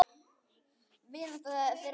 Vinátta þeirra var falleg.